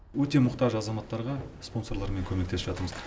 өте мұқтаж азаматтарға спонсорлармен көмектесіп жатырмыз